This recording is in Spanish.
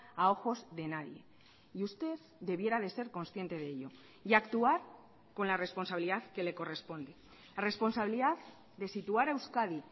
a ojos de nadie y usted debiera de ser consciente de ello y actuar con la responsabilidad que le corresponde responsabilidad de situar a euskadi